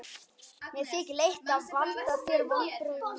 Mér þykir leitt að valda þér vonbrigðum.